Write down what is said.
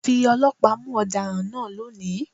Fi ọlọ́pàá mú ọ̀daràn náà lónìí!